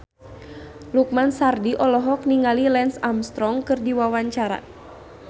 Lukman Sardi olohok ningali Lance Armstrong keur diwawancara